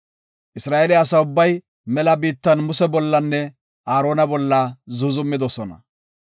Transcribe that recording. Isra7eele asa ubbay mela biittan Muse bollanne Aarona bolla zuuzumidosona.